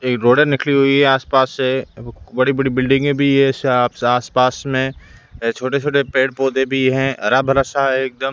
एक रोडे निकली हुई है आस-पास से बड़ी-बड़ी बिल्डिंगे भी है सा आस-पास में छोटे-छोटे पेड़ पोधै भी है हरा-भरा सा है एक दम।